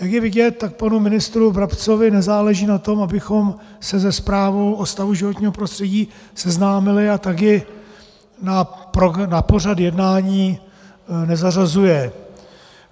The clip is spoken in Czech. Jak je vidět, tak panu ministru Brabcovi nezáleží na tom, abychom se se zprávu o stavu životního prostředí seznámili, a tak ji na pořad jednání nezařazuje.